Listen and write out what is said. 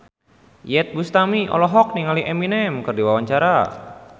Iyeth Bustami olohok ningali Eminem keur diwawancara